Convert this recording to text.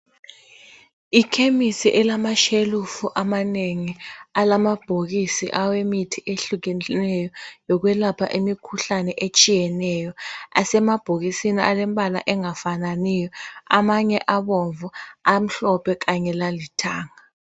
Ikhemisi elamashelufu amanengi alamabhokisi awemithi ehlukeneyo yokwelapha imikhuhlane etshiyeneyo asemabhokisini alembala engafananiyo. Amanye abomvu, amhlophe kanye lalithanga.